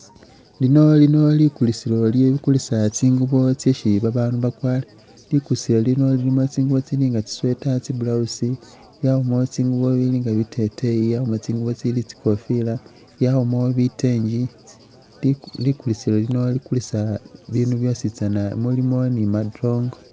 Lino lino likulisilo li kulisa tsingubo tsesi ba bandu ba kwara likulisilo lino lilimo tsingubo tsili nga tsi sweater, tsi blouse yabamo tsingubo bili nga biteteyi yabamo tsingubo tsili tsikofila yabamo bitengi likulisilo likulisa bindu byositsana mulimo ni madongo.